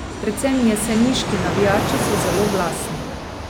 Predvsem jeseniški navijači so zelo glasni.